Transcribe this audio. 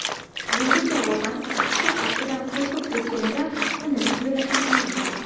Bunga javoban, qizcha aftidan qo‘rqib ketganidan, uni zo‘rlashganini aytgan.